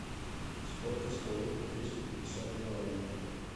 сколько стоит двести пятьдесят юаней